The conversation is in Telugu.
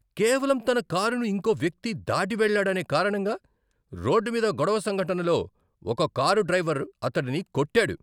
కేవలం తన కారుని ఇంకో వ్యక్తి దాటి వెళ్ళాడనే కారణంగా రోడ్డు మీద గొడవ సంఘటనలో ఒక కారు డ్రైవర్ అతడిని కొట్టాడు.